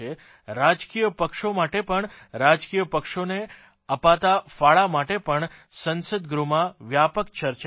રાજકીયપક્ષો માટે પણ રાજકીય પક્ષોને અપાતા ફાળા માટે પણ સંસદગૃહમાં વ્યાપક ચર્ચા થાય